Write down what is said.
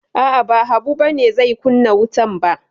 A'a, ba Habu ba ne zai kunna wutan ba.